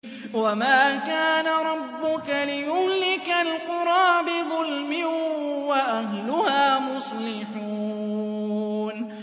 وَمَا كَانَ رَبُّكَ لِيُهْلِكَ الْقُرَىٰ بِظُلْمٍ وَأَهْلُهَا مُصْلِحُونَ